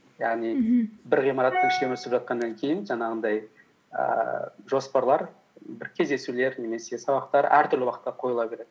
бір ғимараттың ішінде өсіп жатқаннан кейін жаңағындай ііі жоспарлар бір кездесулер немесе сабақтар әртүрлі уақытта қойыла береді